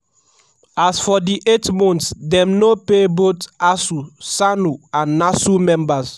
so for di eight months dem no pay both asuu ssanu and nasu members.